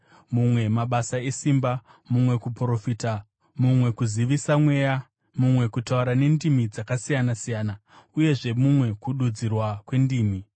mumwe mabasa esimba, mumwe kuprofita, mumwe kuzivisisa mweya, mumwe kutaura nendimi dzakasiyana-siyana, uyezve mumwe kududzirwa kwendimi.